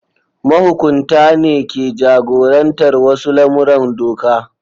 Mahukunta ne ke jagorantar wasu lamuran doka.